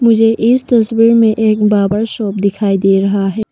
मुझे इस तस्वीर में एक बार्बर शॉप दिखाई दे रहा है।